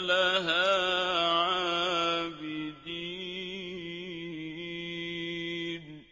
لَهَا عَابِدِينَ